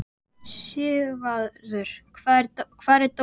Sigvarður, hvar er dótið mitt?